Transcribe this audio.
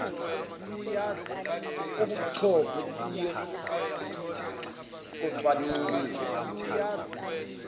ubuchopho buye kocwaningwa